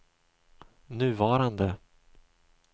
nuvarande